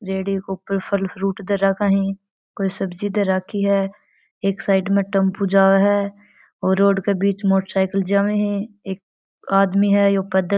रेडी के ऊपर फल फीरूट धर रखी है कोई सब्जी धर राखी है एक साइड टेम्पू जा है और रोड के बीच में मोटरसाइकिल जाव है एक आदमी है यो पैदल --